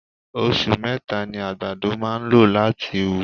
Osù meta ni àgbàdo máa ń lò láti wù.